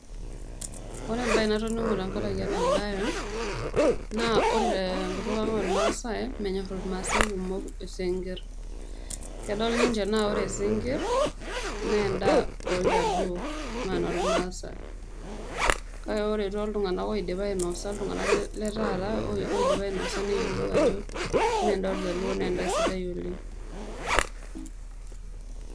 Ore embae natoning'o tenkarake ena bae, naa ore tenkutuk ang' olmaasai, menyorr ilmaasai kumok isinkirr. Kedol ninche anaa ore isinkirr naa endaa oljaluo mee enoolmaasai. Kake ore tooltung'anak oidipa ainosa, iltung'anak letaata oidipa ainosa, neyiolou ajo mee endaa oljaluo naa endaa sidai oleng'.